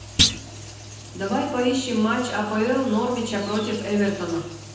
давай поищем матч апл норвича против эвертона